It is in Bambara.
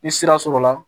Ni sira sɔrɔla